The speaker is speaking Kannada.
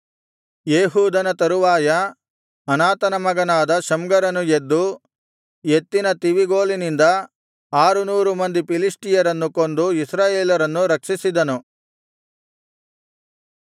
ಏಹೂದನ ತರುವಾಯ ಅನಾತನ ಮಗನಾದ ಶಮ್ಗರನು ಎದ್ದು ಎತ್ತಿನ ತಿವಿಗೋಲಿನಿಂದ ಆರುನೂರು ಮಂದಿ ಫಿಲಿಷ್ಟಿಯರನ್ನು ಕೊಂದು ಇಸ್ರಾಯೇಲರನ್ನು ರಕ್ಷಿಸಿದನು